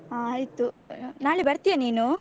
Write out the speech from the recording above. ಹ ಆಯ್ತು ನಾಳೆ ಬರ್ತೀಯ ನೀನು?